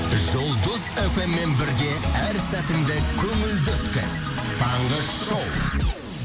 жұлдыз фммен бірге әр сәтіңді көңілді өткіз таңғы шоу